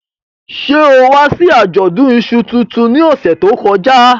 Ṣe o wa si ajọdun iṣú tuntun ni ọsẹ to kọja?